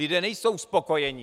Lidé nejsou spokojeni.